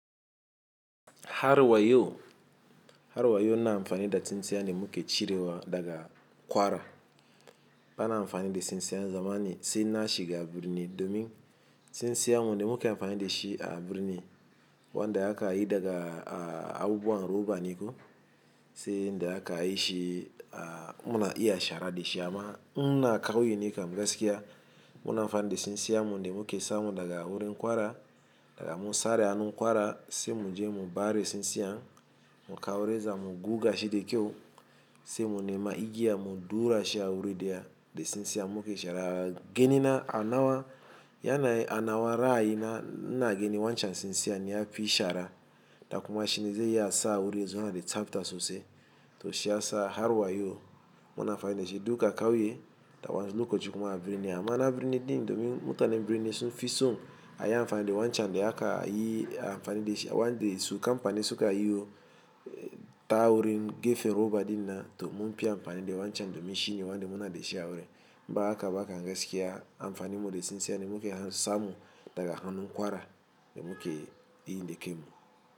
Har wa yau har wa yau ina amfani da tsintsiyan da muke cirewa daga kwara. Ba na amfani da tsintsiyan zamani sai na shiga birni domin tsintsiya mu muke amfani da shi a birni wanda aka yi daga abubuwan roba ne ko sai da aka yi shi muna iya shara da shi amma in na kauye ne gaskiya muna amfani da tsintsiyan mu da muke samu daga wurin kwara daga mu sare hannun kwara sai mu je mu bare tsintsiyan mu kawo reza mu guga shi da kyau sai mu nema igiya mu durashi a wurin da ya da tsintsiyan muke shara. Ganina anawa yana anawa ra'ayina ina ganin wancan tsintsiyan ya fi shara. Da kuma shine zai yi asa wurin zuwa da tsafta sosai to shi ya sa har wa yo muna amfani da shi duka kauye da wayansu lokacin kuma a birni amma na birni din domin mutanen birni sun fi so a yi amfani da wancan da aka yi amfani da shi wanda su kamfanin suka yi ta wurin gefen roba dinnan to mun fiya amfani da wancan domin shine wanda muna da shi a wurin. Ba haka ba aka gaskiya amfani mu da tsintsiyan da muke hanu samu daga hannun kwara da muke yi da ke mu.